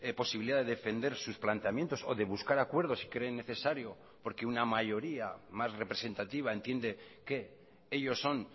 posibilidad de defender sus planteamientos o de buscar acuerdos si creen necesario porque una mayoría más representativa entiende que ellos son